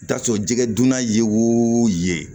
I bɛ t'a sɔrɔ jɛgɛdunan ye o ye